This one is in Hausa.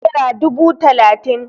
Nera dubu talatin